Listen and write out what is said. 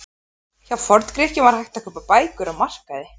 Hjá Forngrikkjum var hægt að kaupa bækur á markaði.